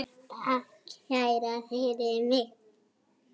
Takk kærlega fyrir mig.